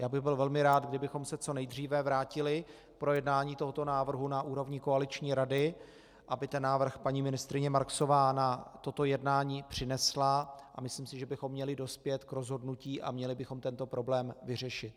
Já bych byl velmi rád, kdybychom se co nejdříve vrátili k projednání tohoto návrhu na úrovni koaliční rady, aby ten návrh paní ministryně Marksová na toto jednání přinesla, a myslím si, že bychom měli dospět k rozhodnutí a měli bychom tento problém vyřešit.